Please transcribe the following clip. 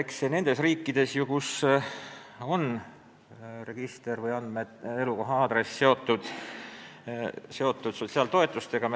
Me läheme nüüd samasse suunda, nagu on nendes riikides, kus elukoha aadress on seotud sotsiaaltoetustega.